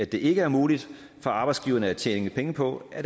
det ikke er muligt for arbejdsgiverne at tjene penge på at